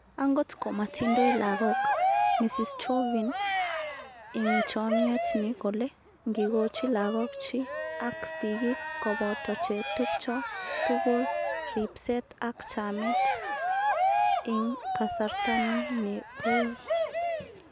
" Angot ko matindoi lagok Ms.Chauvin ing chomyet ni kole ngikochi lagok chi, ak sigik kopoto che tupcho tukul ripset ap chamet ing kasarta ni ne ui"